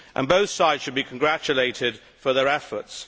Both sides should be congratulated for their efforts.